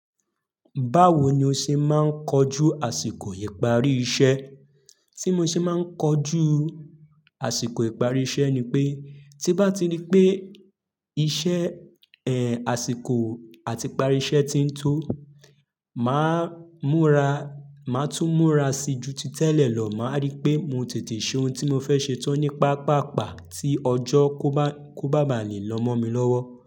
Báwo ni o ṣe máa ń kojú àsìkò ìparí iṣẹ́? Tí mo ṣe máa ń kojú àsìkò ìparí iṣẹ́ ni pé, tí ń bá ti rí pé iṣẹ́, àsìkò àti ìparí iṣẹ́ ti ń tó, màá múra, màá tún múra sí ju tí tẹ́lẹ̀ lọ, màá rí pé mo tètè ṣe ohun tí mo fẹ́ ṣe tán ní pápàpá tí ọjọ́ kó bá, kó bá má lẹ̀ lọ́ mọ́ mi lọ́wọ́.